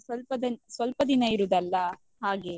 ಹಾ ಇನ್ನು ಸ್ವಲ್ಪ ಸ್ವಲ್ಪ ದಿನ್~ ದಿನ ಇರುದಲ್ಲ ಹಾಗೆ.